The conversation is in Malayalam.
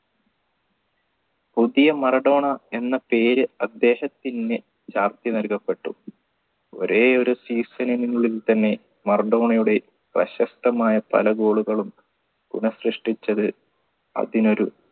പുതിയ മറഡോണ എന്ന പേര് അദ്ദേഹത്തിന്ന് ചാർത്തി നൽകപ്പെട്ടു ഒരേ ഒരു season നുള്ളിൽ തന്നെ മറഡോണയുടെ പ്രശസ്തമായ പല goal കളും പുനർസൃഷ്ടിച്ചത് അതിനൊരു